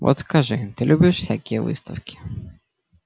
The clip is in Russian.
вот скажи ты любишь всякие выставки